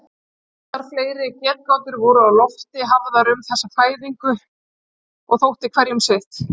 Ýmsar fleiri getgátur voru á lofti hafðar um þessa fæðingu og þótti hverjum sitt.